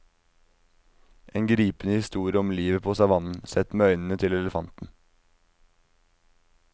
En gripende historie om livet på savannen, sett med øynene til elefanten.